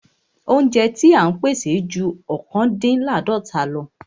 Óúnjẹ ti à ń pèsè ju ọ̀kándínláàdọ́ta lọ.